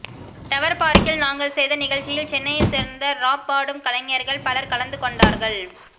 tower பார்க்கில் நாங்கள் செய்த நிகழ்ச்சியில் சென்னையைச் சேர்ந்த ராப் பாடும் கலைஞர்கள் பலர் கலந்துகொண்டார்கள்